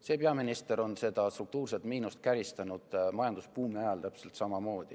See peaminister käristas struktuurset miinust majandusbuumi ajal täpselt samamoodi.